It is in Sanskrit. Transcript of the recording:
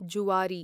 जुआरी